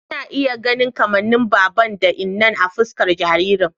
Ina iya ganin kamannin baban da innan a fuskar jaririn